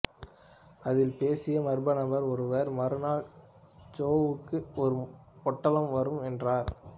அதில் பேசிய மர்ம நபர் ஒருவர் மறுநாள் ஜோவுக்கு ஒரு பொட்டலம் வரும் என்றார்